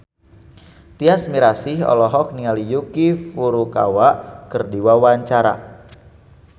Tyas Mirasih olohok ningali Yuki Furukawa keur diwawancara